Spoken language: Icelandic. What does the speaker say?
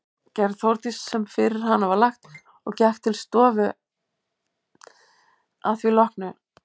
Gerði Þórdís sem fyrir hana var lagt og gekk til stofu að því loknu.